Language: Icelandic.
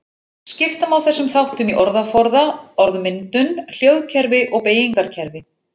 Skipta má þessum þáttum í orðaforða, orðmyndun, hljóðkerfi og beygingarkerfi.